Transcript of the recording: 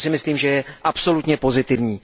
To si myslím, že je absolutně pozitivní.